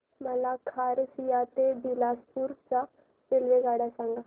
मला खरसिया ते बिलासपुर च्या आगगाड्या सांगा